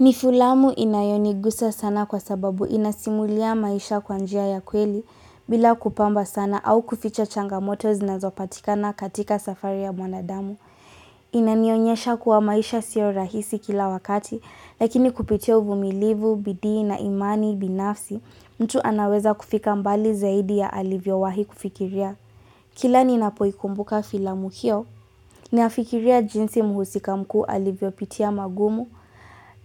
Ni filamu inayonigusa sana kwa sababu inasimulia maisha kwa njia ya kweli bila kupamba sana au kuficha changamoto zinazopatikana katika safari ya mwanadamu. Inanionyesha kuwa, maisha sio rahisi kila wakati lakini kupitia uvumilivu, bidii na imani binafsi, mtu anaweza kufika mbali zaidi ya alivyowahi kufikiria. Kila ninapoikumbuka filamu hiyo, ninafikiria jinsi muhusika mkuu alivyopitia magumu,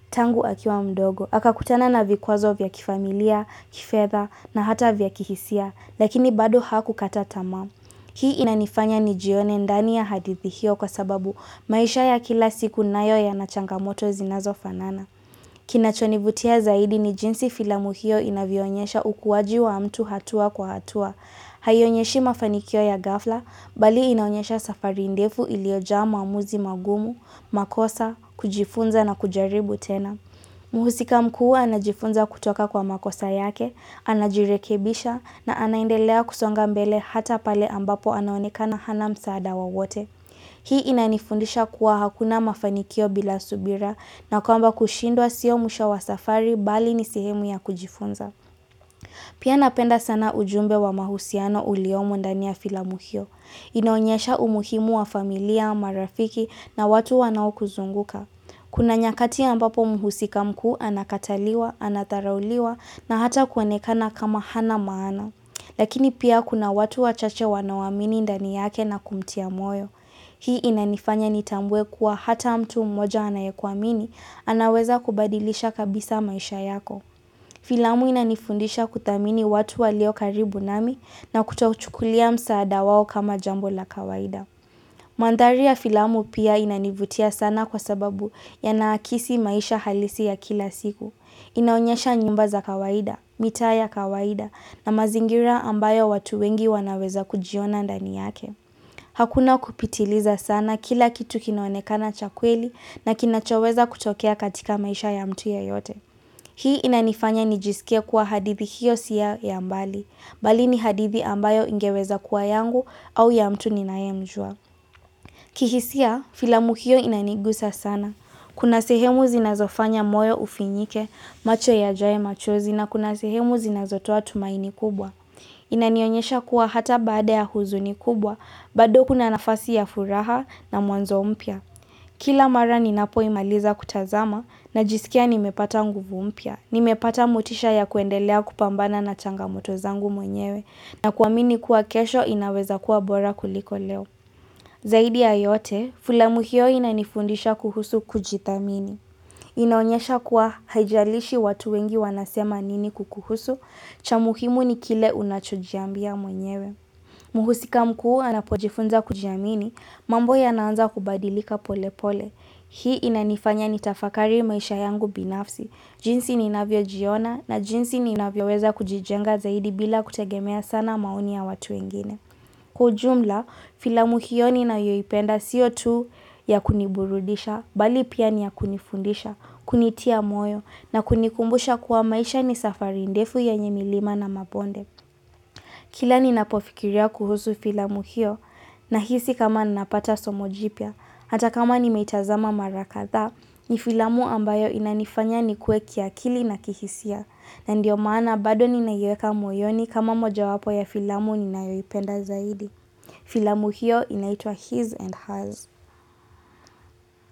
tangu akiwa mdogo, akakutana na vikwazo vya kifamilia, kifedha na hata vya kihisia, lakini bado hakukata tamaa. Hii inanifanya nijione ndani ya hadithi hiyo kwa sababu, maisha ya kila siku nayo yanachangamoto zinazofanana. Kinachonivutia zaidi, ni jinsi filamu hiyo inavyoonyesha ukuwaji wa mtu hatua kwa hatua. Haionyeshi mafanikio ya ghafla, bali inaonyesha safari ndefu iliyojaa maamuzi magumu, makosa, kujifunza na kujaribu tena. Mhusika mkuu anajifunza kutoka kwa makosa yake, anajirekebisha na anaendelea kusonga mbele hata pale ambapo anaonekana hana msaada wowote. Hii inanifundisha kuwa, hakuna mafanikio bila subira na kwamba, kushindwa siyo mwisho wa safari bali ni sehemu ya kujifunza. Pia, napenda sana ujumbe wa mahusiano uliyomo ndani ya filamu hiyo. Inaonyesha umuhimu wa familia, marafiki na watu wanaokuzunguka. Kuna nyakati ambapo mhusika mkuu anakataliwa, anadharauliwa na hata kuonekana kama hana maana. Lakini pia kuna watu wachache wanawaamini ndani yake na kumtia moyo. Hii inanifanya nitambue kuwa hata mtu mmoja anayekuamini anaweza kubadilisha kabisa maisha yako. Filamu inanifundisha kuthamini watu walio karibu nami na kutouchukulia msaada wao kama jambo la kawaida. Mandhari ya filamu pia inanivutia sana kwa sababu yanaakisi maisha halisi ya kila siku. Inaonyesha nyumba za kawaida, mita ya kawaida na mazingira ambayo watu wengi wanaweza kujiona ndani yake. Hakuna kupitiliza sana kila kitu kinoanekana cha kweli na kinachoweza kutokea katika maisha ya mtu yeyote. Hii inanifanya nijisikia kuwa hadithi hiyo si ya ya mbali, bali ni hadithi ambayo ingeweza kuwa yangu au ya mtu ninayemjua. Kihisia filamu hiyo inanigusa sana. Kuna sehemu zinazofanya moyo ufinyike, macho yajaye machozi na kuna sehemu zinazotoa tumaini kubwa. Inanionyesha kuwa hata baada ya huzuni kubwa, bado kuna nafasi ya furaha na mwanzo mpya. Kila mara ninapoimaliza kutazama, najisikia nimepata nguvu mpya. Nimepata motisha ya kuendelea kupambana na changamoto zangu mwenyewe na kuamini kuwa kesho inaweza kuwa bora kuliko leo. Zaidi ya yote, filamu hio inanifundisha kuhusu kujithamini. Inaonyesha kuwa haijalishi watu wengi wanasema nini kukuhusu, cha muhimu ni kile unachojiambia mwenyewe. Mhusika mkuu anapojifunza kujiamini, mambo yanaanza kubadilika pole pole. Hii inanifanya nitafakari maisha yangu binafsi, jinsi ninavyo jiona na jinsi ninavyoweza kujijenga zaidi bila kutegemea sana maoni ya watu wengine. Kwa ujumla, filamu hiyo ninayoipenda sio tu ya kuniburudisha, bali pia ni ya kunifundisha, kunitia moyo na kunikumbusha kuwa maisha ni safari ndefu yenye milima na mabonde. Kila ninapofikiria kuhusu filamu hiyo nahisi kama napata somo jipya, hata kama nimeitazama mara kadha, ni filamu ambayo inanifanya nikue kiakili na kihisia na ndiyo maana bado ninaiweka moyoni kama mojawapo ya filamu ninayoipenda zaidi. Filamu hiyo inaitwa his and hers.